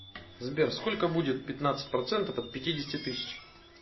сбер сколько будет пятнадцать процентов от пятидесяти тысяч